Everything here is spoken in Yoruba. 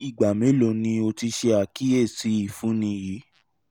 ni igba melo ni o ti ṣe akiyesi ifunni yii